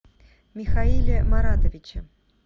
михаиле маратовиче